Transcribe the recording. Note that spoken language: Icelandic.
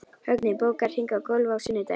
Högni, bókaðu hring í golf á sunnudaginn.